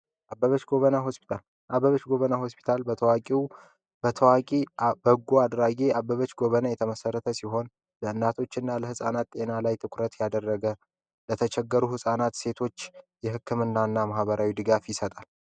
አበበች ጎበና ሆስፒታል አበበች ጎበና ሆስፒታል በታዋቂ ፣በጎ አድራጊ አበበች ጎበና የተመሰረተ ሲሆን በእናቶች እና ህፃናት ጤና ላይ ትኩረት ያደረገ ለተቸገሩ ህፃናት ሴቶች የህክምና እና ማህበራዊ ድጋፍ ይሰጣል።